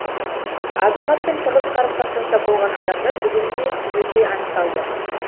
азаматпен тығыз қарым қатынаста болған адамдар бүгінде түгелдей анықталды